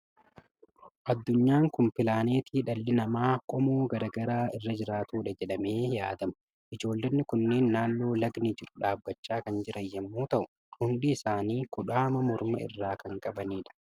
Addunyaan kun pilaanetii dhalli namaa qomoo garaa garaa irra jiraatudha jedhamee yaadama. Ijoollonni kunneen naannoo lagdi jiru dhaabachaa kan jiran yommuu ta'u, hundi isaanii kudhaama morma irraa kan qabani dha.